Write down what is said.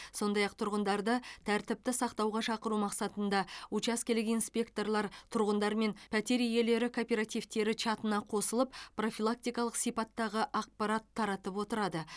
сондай ақ тұрғындарды тәртіпті сақтауға шақыру мақсатында учаскелік инспекторлар тұрғындар мен пәтер иелері кооперативтері чатына қосылып профилактикалық сипаттағы ақпарат таратып отырады